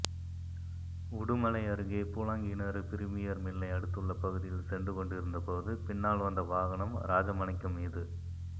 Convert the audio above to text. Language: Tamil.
உடுமலை அருகே பூலாங்கிணறு பிரிமியா் மில்லை அடுத்துள்ள பகுதியில் சென்று கொண்டிருந்த போது பின்னால் வந்த வாகனம் ராஜமாணிக்கம் மீது